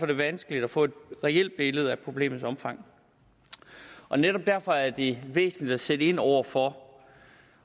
det vanskeligt at få et reelt billede af problemets omfang netop derfor er det væsentligt at sætte ind over for